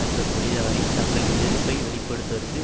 என்ற தொழிலாளி தங்களின் எதிர்ப்பை வெளிப்படுத்துவதற்கு